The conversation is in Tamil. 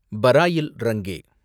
பராயில் ரங்கே